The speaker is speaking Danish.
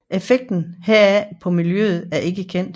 Effekten heraf på miljøet er ikke kendt